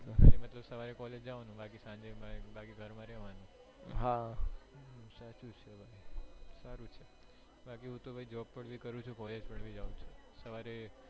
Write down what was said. સવારે છ વાગે જવાનું બાકી સાંજે ઘરે રહેવાનું સારું છે